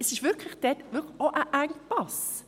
Es gibt dort wirklich auch einen Engpass.